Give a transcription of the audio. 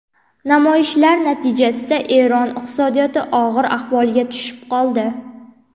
Namoyishlar natijasida Eron iqtisodiyoti og‘ir ahvolga tushib qoldi.